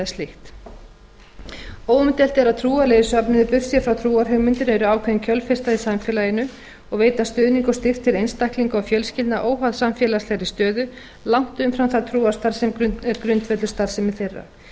slíkt óumdeilt er að trúarlegir söfnuðir burtséð frá trúarhugmyndum eru ákveðin kjölfesta í samfélaginu og veita stuðning og styrk til einstaklinga og fjölskyldna óháð samfélagslegri stöðu langt umfram það trúarstarf sem er grundvöllur starfsemi þeirra í